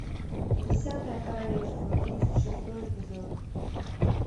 десятое королевство тридцать шестой эпизод